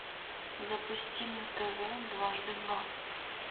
запусти на тв дважды два